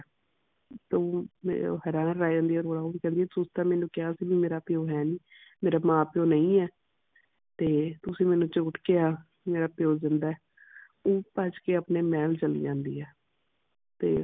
ਤੇ ਫੇਰ ਉਹ ਹੈਰਾਨ ਰਹਿ ਜਾਂਦੀ ਹੈ ਥੋੜਾ ਮੇਨੂ ਕਿਹਾ ਸੀ ਵੀ ਮੇਰਾ ਪਿਓ ਹੈ ਨਹੀਂ, ਮੇਰਾ ਮਾਂ ਪਿਉ ਨਹੀਂ ਹੈ ਤੇ ਤੁਸੀਂ ਮੇਨੂ ਝੂਠ ਕਿਹਾ ਕਿ ਮੇਰਾ ਪਿਓ ਜਿੰਦਾ ਹੈ। ਉਹ ਭੱਜ ਕੇ ਆਪਣੇ ਮਹਲ ਚਾਲੀ ਜਾਂਦੀ ਹੈ। ਤੇ